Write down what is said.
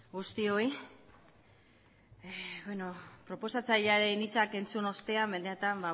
guztioi proposatzailearen hitzak entzun ostean benetan